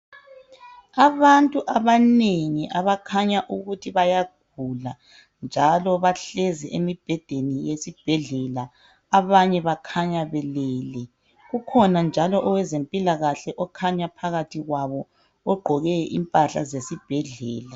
abantu abanengi abakhanya ukuthi bayagula njalo bahlezi emibhedeni yesibhedlela banye bakhanya belele kukhona njalo owezempilakahle okhanya phakathi kwabo ogqoke impahla zesibhedlela